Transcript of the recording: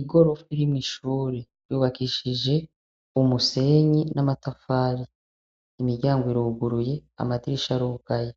Igorofa irimwo ishuri. Yubakishije umusenyi n'amatafari. Imiryango iruguruye, amadirisha arugaye.